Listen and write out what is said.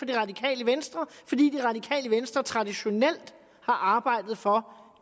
det radikale venstre traditionelt har arbejdet for